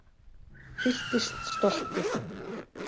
Fylltist stolti